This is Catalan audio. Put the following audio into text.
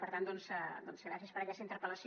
per tant doncs gràcies per aquesta interpel·lació